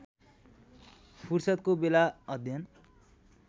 फुर्सदको बेला अध्ययन